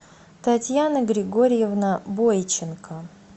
татьяна григорьевна бойченко